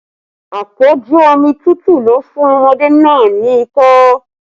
Apoju omi tútù ló fún ọmọdé náà ni ikọ́